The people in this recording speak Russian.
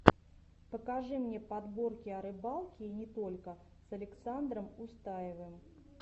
покажи мне подборки о рыбалке и не только с александром устаевым